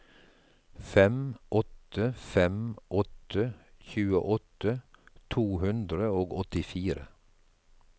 fem åtte fem åtte tjueåtte to hundre og åttifire